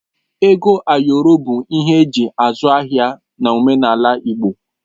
Ego ayọrọ bụ ihe eji azụ ahịa n'omenala Igbo